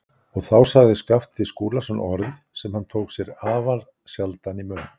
Og þá sagði Skapti Skúlason orð sem hann tók sér afar sjaldan í munn.